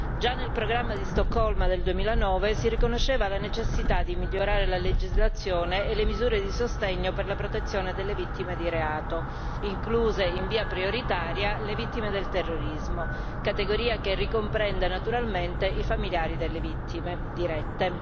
Già nel programma di Stoccolma del 2009 si riconosceva la necessità di migliorare la legislazione e le misure di sostegno per la protezione delle vittime di reato, incluse, in via prioritaria, le vittime del terrorismo, categoria che ricomprende naturalmente i familiari delle vittime dirette.